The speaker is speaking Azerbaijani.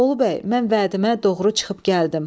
Bolu bəy, mən vədimə doğru çıxıb gəldim.